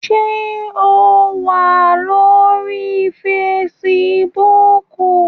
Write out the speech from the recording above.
Ṣé o wà lórí Facebook?